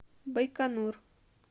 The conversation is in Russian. байконур